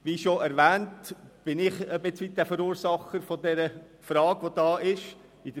Wie bereits erwähnt, bin ich bis zu einem gewissen Grad der Verursacher der Frage, die sich hier stellt.